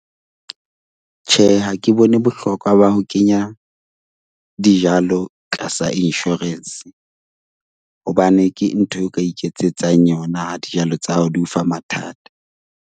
Tjhe, ha ke bone bohlokwa ba ho kenya dijalo tlasa insurance hobane ke ntho eo ka iketsetsang yona ha dijalo tsa hao di o fa mathata.